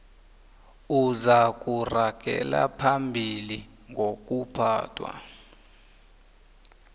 uzakuragela phambili ngokuphathwa